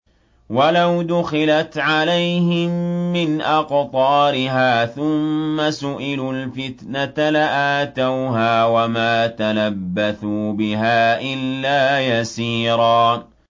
وَلَوْ دُخِلَتْ عَلَيْهِم مِّنْ أَقْطَارِهَا ثُمَّ سُئِلُوا الْفِتْنَةَ لَآتَوْهَا وَمَا تَلَبَّثُوا بِهَا إِلَّا يَسِيرًا